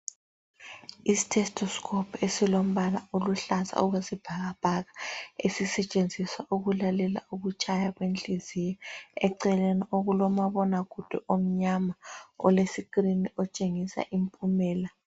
Isithestosikopu esilombala oluhlaza okwesibhakabhaka, esisetshenziswa ukulalela ukutshaya kwenhliziyo. Eceleni okulomabonakude omnyama, olesikirini, otshengisa impumela.